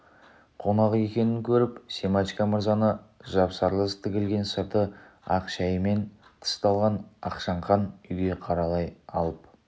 қонақ екенін көріп семашко мырзаны жапсарлас тігілген сырты ақ шәйімен тысталған ақшаңқан үйге қарай алып